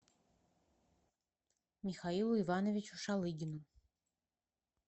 михаилу ивановичу шалыгину